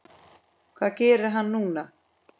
Hvað gerir hann núna?